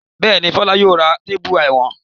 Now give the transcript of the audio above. Bẹ́ẹ̀ ni, Fọlá yóò ra téépù ìwọ̀n.